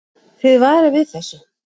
Þið varið við þessu?